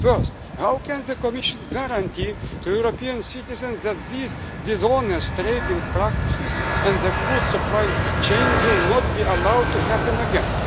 issue. First, how can the Commission guarantee to European citizens that these dishonest trading practices in the food supply chain will not be allowed to happen